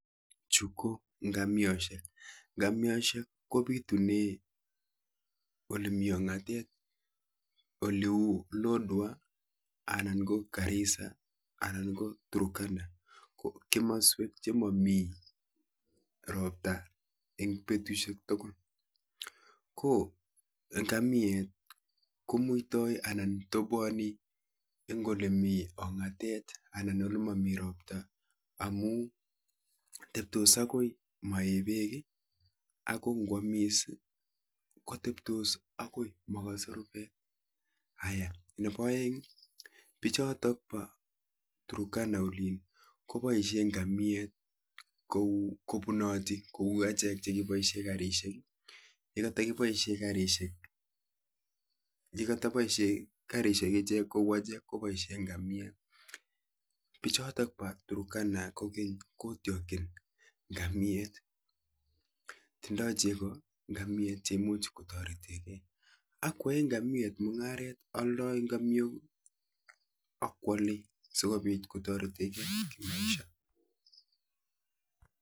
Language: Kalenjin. Chuuu KO ngamiosheeek bitunee lodwwar anan ko garisaaa ngamiet kotoboani ek olemiii ongatet amun kikichop kounitok niii ngamiet kokararan mising amun kopaisheee kelaee tugun chechang